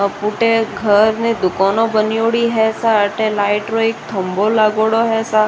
अब फूटे घर में दुकान बणयोडी है सा अठे लाइट रो खम्बो लागेङो है सा।